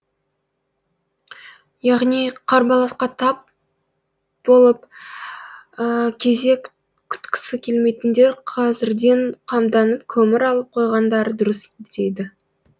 яғни қарбаласқа тап болып кезек күткісі келмейтіндер қазірден қамданып көмір алып қойғандары дұрыс дейді